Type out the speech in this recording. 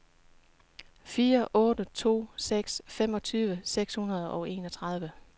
fire otte to seks femogtyve seks hundrede og enogtredive